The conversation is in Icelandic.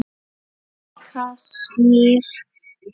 Í Kasmír